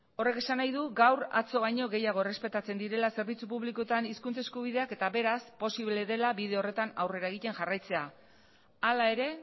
horrek esan nahi du gaur atzo baino gehiago errespetatzen direla zerbitzu publikoetan hizkuntza eskubideak eta beraz posible dela bide horretan aurrera egiten jarraitzea hala ere